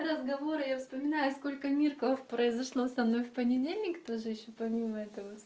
разговоры я вспоминаю сколько мирков произошло со мной в понедельник тоже ещё помимо этого